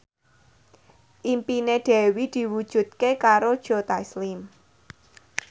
impine Dewi diwujudke karo Joe Taslim